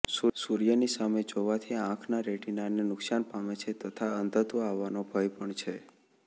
સૂર્યની સામે જોવાથી આંખના રેટીનાને નુકશાન પામે છે તથા અંધત્વ આવવાનો ભય પણ છે